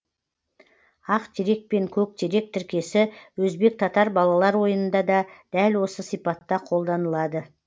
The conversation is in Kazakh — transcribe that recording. ақ терек пен көк терек тіркесі өзбек татар балалар ойынында да дәл осы сипатта қолданылады